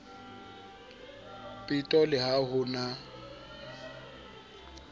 peto le ha ho na